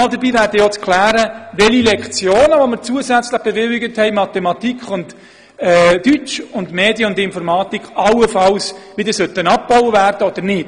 Dabei wäre auch zu klären, welche Lektionen, die wir zusätzlich bewilligt haben für Mathematik, Deutsch, Medien und Informatik, allenfalls wieder abgebaut werden sollten oder auch nicht.